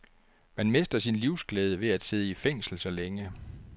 Man mister sin livsglæde ved at sidde i fængsel så længe.